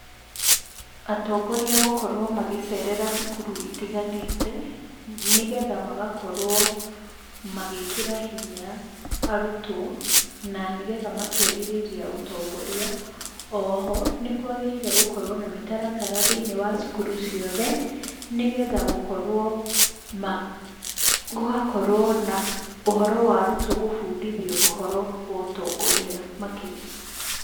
Atongoria gũkorwo magĩcerera cukuru itiganĩte, nĩgetha magakorwo magĩkĩra hinya arutwo, na nĩgetha makerirĩria ũtongoria. Oho, nĩkwagĩrĩire gũkorwo na mĩtaratara thĩinĩ wa cukuru ciothe, nĩgetha gũkorwo, gũgakorwo na ũhoro wa arutwo gũbundithio ũhoro wa ũtongoria makĩria.